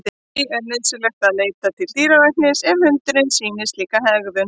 Því er nauðsynlegt að leita til dýralæknis ef hundurinn sýnir slíka hegðun.